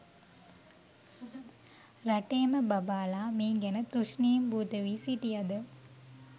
රටේම බබාලා මේ ගැන තුෂ්ණිම්භූත වී සිටියද